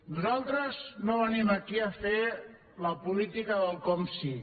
nosaltres no venim aquí a fer la política del com si